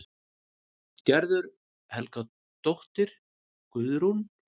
Gerður Helgadóttir, Guðrún